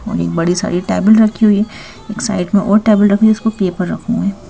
और बड़ी सारी टेबल रखी हुई एक साइड में और टेबल रखी इसको पेपर रखें हुए हैं।